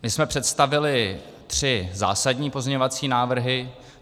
My jsme představili tři zásadní pozměňovací návrhy.